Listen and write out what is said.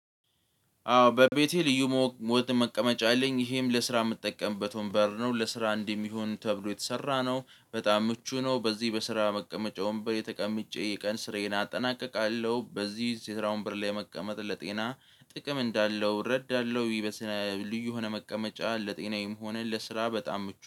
አዎ በቤቴ ልዩ ሞት መቀመጫ አለኝ ይሄም ለስራ የምጠቀምበት ወንበር ነው ለስራ እንደሚሆን ተብሎ የተሰራ ነው በጣም ምቹ ነው። በዚህ በስራ መቀመጫ ወንበሬ ተቀምጬ የቀን ስራዬን አጠናቅቃለሁ በዚህ የስራ ወንበር ላይ መቀመጥ ለጤና ጥቅም እንዳለው እረዳለሁ። ልዩ ሆነ መቀመጫ ለጤናዬም ሆነ ለስራ በጣም ምቹ